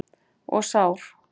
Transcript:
Og sár.